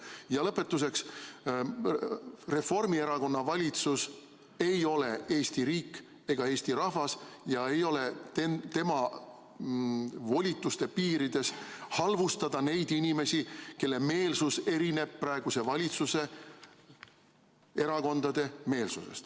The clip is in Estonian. Ja lõpetuseks: Reformierakonna valitsus ei ole Eesti riik ega Eesti rahvas ja ei ole tema volituste piirides halvustada neid inimesi, kelle meelsus erineb praeguse valitsuse erakondade meelsusest.